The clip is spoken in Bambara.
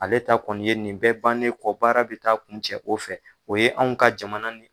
Ale ta kɔni ye nin bɛɛ bannen kɔ, baara bi taa kun cɛ o fɛ. O ye anw ka jamana ni